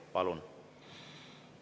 Palun!